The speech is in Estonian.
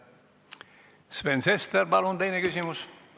Sven Sester, palun teine küsimus!